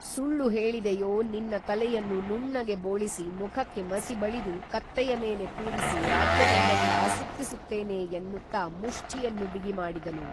ಸುಳ್ಳು ಹೇಳಿದೆಯೋ ನಿನ್ನ ತಲೆಯನ್ನು ನುಣ್ಣಗೆ ಬೋಳಿಸಿ ಮುಖಕ್ಕೆ ಮಸಿ ಬಳಿದು ಕತ್ತೆಯ ಮೇಲೆ ಕೂರಿಸಿ ರಾಜ್ಯದಲ್ಲೆಲ್ಲಾ ಸುತ್ತಿಸುತ್ತೇನೆ ಎನ್ನುತ್ತಾ ಮುಷ್ಟಿಯನ್ನು ಬಿಗಿಮಾಡಿದನು